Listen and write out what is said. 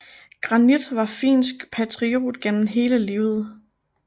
Granit var finsk patriot gennem hele livet